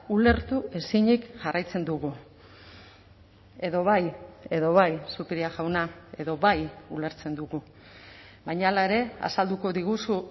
ulertu ezinik jarraitzen dugu edo bai edo bai zupiria jauna edo bai ulertzen dugu baina hala ere azalduko diguzu